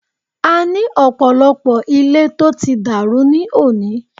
A ní ọ̀pọ̀lọpọ̀ ilé tó ti dàrú ní òní.